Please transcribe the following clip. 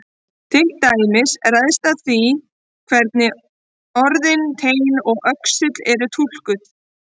Til dæmis ræðst það af því hvernig orðin teinn og öxull eru túlkuð.